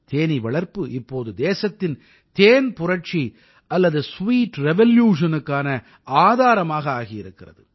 தேனீ வளர்ப்பு இப்போது தேசத்தின் தேன் புரட்சி அல்லது ஸ்வீட் revolutionக்கான ஆதாரமாக ஆகி வருகிறது